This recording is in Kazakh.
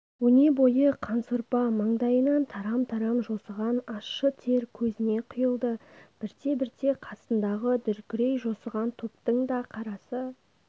өнебойы қансорпа маңдайынан тарам-тарам жосыған ащы тер көзіне құйылды бірте-бірте қасындағы дүркірей жосыған топтың да қарасы